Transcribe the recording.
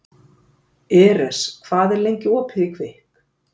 Eres, hvað er lengi opið í Kvikk?